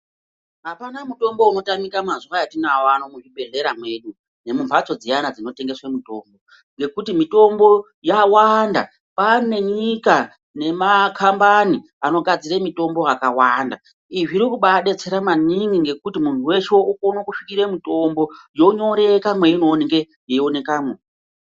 Hapana mutombo unotamika mazuva etinawo ano muzvibhehleya mwedu nemumbatso dziyana dzinotengeswe mitombo. Ngekuti mitombo yawanda, kwaane nyika nemakambani anogadzire mitombo yakawanda. Izvi zvirikubaadetsera maningi ngekuti muntu weshe okone kusvikire mutombo yonyoreka mweinooneke yeionekamwo.